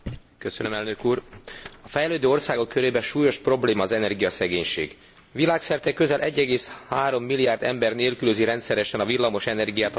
A fejlődő országok körében súlyos probléma az energiaszegénység. Világszerte közel 1,3 milliárd ember nélkülözi rendszeresen a villamos energiát a mindennapi teendők során.